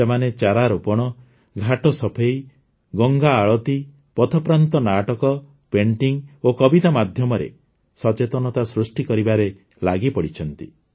ସେମାନେ ଚାରାରୋପଣ ଘାଟ ସଫେଇ ଗଙ୍ଗା ଆଳତୀ ପଥପ୍ରାନ୍ତ ନାଟକ ପେଣ୍ଟିଙ୍ଗ ଓ କବିତା ମାଧ୍ୟମରେ ସଚେତନତା ସୃଷ୍ଟି କରିବାରେ ଲାଗିପଡ଼ିଛନ୍ତି